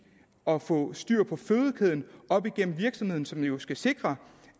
og få styr på fødekæden op igennem virksomheden som jo skal sikre